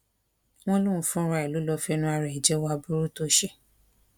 wọn lóun fúnra ẹ ló lọọ fẹnu ara ẹ jẹwọ aburú tó ṣe